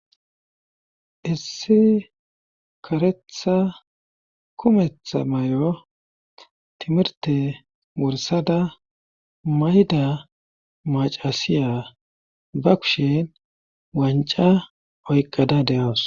issi karetha kumetha may7o timirte wursada mayda macasiya ba kushen wanca oyqqada de7awus